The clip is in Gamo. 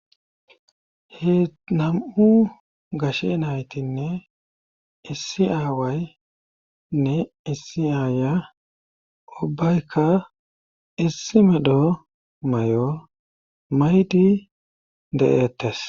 He nam'u gashe naytinne issi aawaynne issi aaya ubbaykka issi medho may'o maydi de'ettes